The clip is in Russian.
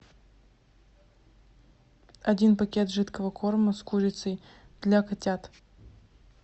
один пакет жидкого корма с курицей для котят